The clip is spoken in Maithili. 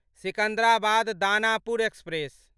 सिकंदराबाद दानापुर एक्सप्रेस